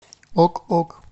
ок ок